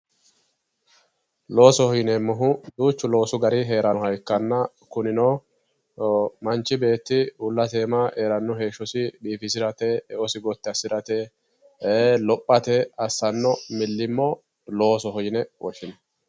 loosoho yineemmohu duuchu loosu gari heerannoha ikkanna kunino anfi geeshshi basenna heeranno heeshsho umosi gotti assirate lophate assanno millimmo loosoho yine woshshinanni